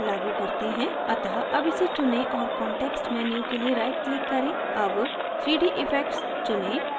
अतः अब इसे चुनें और context menu के लिए right click करें अब 3d effects चुनें